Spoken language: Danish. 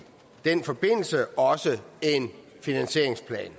den forbindelse også en finansieringsplan